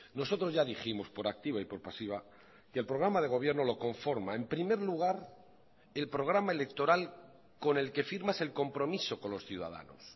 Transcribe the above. nosotros ya dijimos por activa y por pasiva que el programa de gobierno lo conforma en primer lugar el programa electoral con el que firmas el compromiso con los ciudadanos